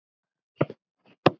Hvað veit ég? sagði hann.